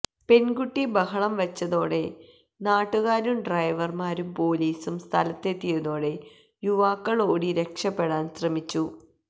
പെണ്കുട്ടി ബഹളം വച്ചതോടെ നാട്ടുകാരും ഡ്രൈവര്മാരും പോലീസും സ്ഥലത്തെത്തിയതോടെ യുവാക്കള് ഓടി രക്ഷപെടാന് ശ്രമിച്ചു